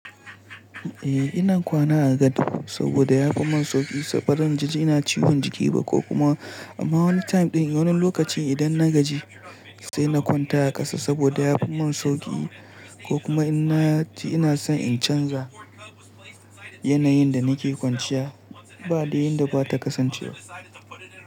Eh ina kwana a gad saboda yafi mun sauki, bari na gaji ina ciwon jiki ba ko kuma amma wani time ɗin, wani lokaci idan na gaji sai na kwanta a ƙasa saboda yafi mun sauki ko kuma inna ji ina son in canza yanayin da nake kwanciya babu yan da zata kasance ba.